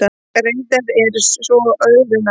Reyndin er svo öðru nær.